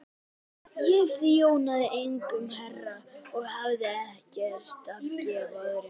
Ég þjónaði einum herra og hafði ekkert að gefa öðrum.